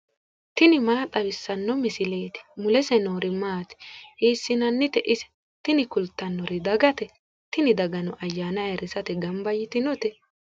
tini maa xawissanno misileeti ? mulese noori maati ? hiissinannite ise ? tini kultannori dagate. tini dagano ayyaana ayiirrisate ganba yitinote.